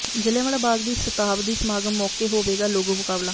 ਜ਼ਲਿ੍ਹਆਂਵਾਲਾ ਬਾਗ ਦੀ ਸ਼ਤਾਬਦੀ ਸਮਾਗਮ ਮੌਕੇ ਹੋਵੇਗਾ ਲੋਗੋ ਮੁਕਾਬਲਾ